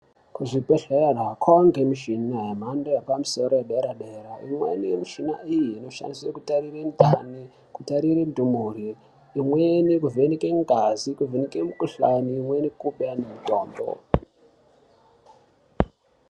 Kuzvibhedhlera kovanikwa mishina yemhando yepamusoro yedera-dera. Imweni yemishina iyi inoshandiswe kutarire ndani kutarire ndumure. Imweni kuvheneke ngazi nekuvhene mukuhlani imweni kubeya nemitombo.